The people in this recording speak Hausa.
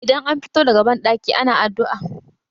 idan an fito daga bandaki ana addu'a